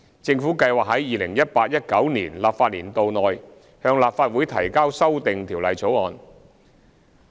政府計劃在 2018-2019 立法年度內向立法會提交修訂條例草案。